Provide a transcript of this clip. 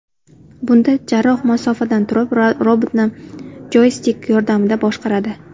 Bunda jarroh masofadan turib, robotni joystik yordamida boshqaradi.